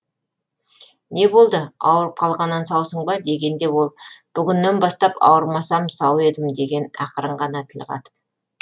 не болды ауырып қалғаннан саусың ба дегенде ол бүгіннен бастап ауырмасам сау едім деген ақырын ғана тіл қатып